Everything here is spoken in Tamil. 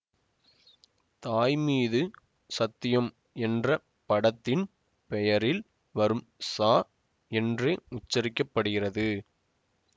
தாய் மீது சத்தியம் என்ற படத்தின் பெயரில் வரும் ச என்றே உச்சரிக்க படுகிறது